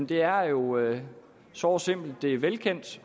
det er jo såre simpelt det er velkendt